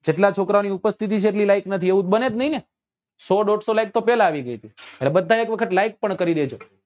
જેટલા છોકરાઓ ની ઉપસ્થિતિ છે એટલી like નથી એવું તો બને જ નહિ ને સો દોડસો like તો પેલા આવી ગઈ હતી એટલે બધા એક વખત like પણ કરી દેજો